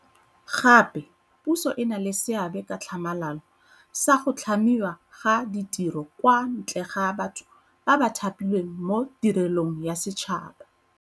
Gape puso e na le seabe ka tlhamalalo sa go tlhamiwa ga ditiro kwa ntle ga batho ba ba thapilweng mo tirelong ya setšhaba.